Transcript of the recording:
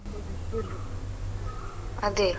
ಅದೆ.